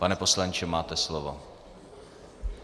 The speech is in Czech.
Pane poslanče, máte slovo.